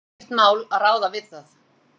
Ekkert mál að ráða við það.